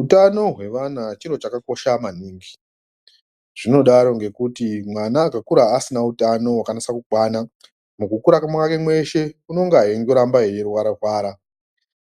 Utano hwevana chiri chakakosha maningi, zvinodaro ngekuti mwana akakura asina utano wakanase kukwana mukukura kwake mweshe unonga eingoramba eirwara rwara,